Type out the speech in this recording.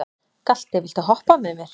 Galti, viltu hoppa með mér?